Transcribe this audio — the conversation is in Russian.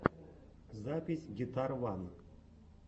запись гитарван